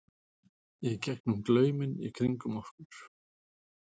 í gegnum glauminn í kringum okkur.